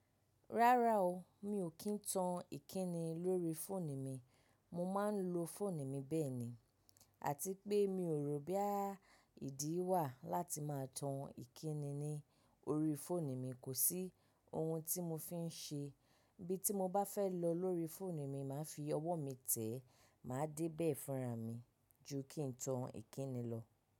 Rárá o, mi ò kí ń tan ìkíni lórí fóònù mi, mo máa ń lo fóònù mi bẹ́ẹ̀ ni. Àti pé mi ò rò boya ìdí wà láti máa tan ìkíni ní orí fóònù mi, kò sí ohun tí mo fi ń ṣe. Bí tí mo bá fẹ́ lọ lórí fóònù mi, màá fi ọwọ́ mi tẹ́, màá débẹ̀ fúnra mi ju kí ń tan ìkíni lọ.